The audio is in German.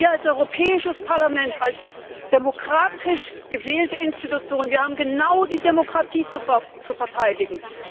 Wir als Europäisches Parlament, als demokratisch gewählte Institution, haben genau die Demokratie zu verteidigen.